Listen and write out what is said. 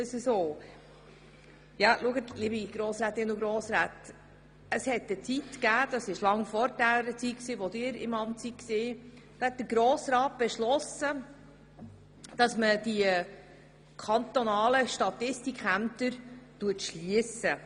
Es gab eine Zeit lange vor Ihrer Zeit im Amt, als der Grosse Rat beschloss, die kantonalen Statistikämter zu schliessen.